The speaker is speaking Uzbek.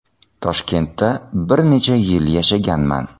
Toshkentda bir necha yil yashaganman.